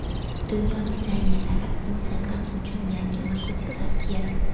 Dunyo dizaynerlari Instagram uchun yangi logotiplar yaratdi .